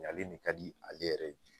Ɲalen de ka di ale yɛrɛ ye